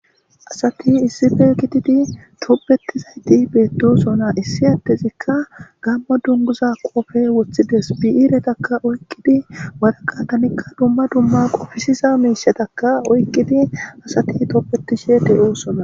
asati issife kitidi tobeti zayti beetdosona issi adtezikka gammo dunguza qofe woththides biiretakka oyqqidi waraqatanikka dumma dumma qofisiza miishetakka oyqqidi asati tobetishe de7oosona